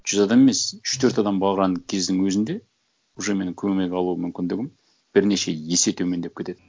жүз адам емес үш төрт адам барған кездің өзінде уже менің көмек алу мүмкіндігім бірнеше есе төмендеп кетеді